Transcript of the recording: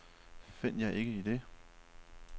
Find jer ikke i det.